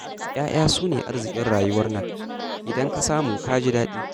Ya'ya su ne arzikin rayuwar nan, idan ka samu ka ji daɗi'